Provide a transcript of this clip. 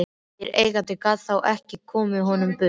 Nýr eigandi gat þá ekið honum burt.